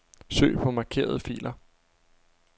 Søg på markerede filer.